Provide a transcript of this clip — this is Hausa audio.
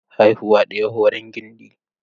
Haihuwa ɗaya horon gindi.